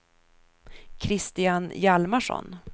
Christian Hjalmarsson